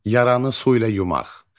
Yaranı su ilə yumaq.